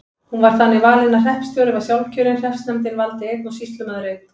Hún var þannig valin að hreppstjóri var sjálfkjörinn, hreppsnefndin valdi einn og sýslumaður einn.